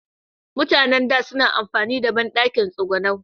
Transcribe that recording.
Mutan da, suna amfani da banɗakin tsigunau